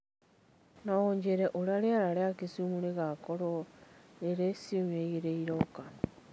no ũnjĩĩre ũrĩa rĩera rĩa kisumu rĩgaakorũo rĩrĩ ciumia iroka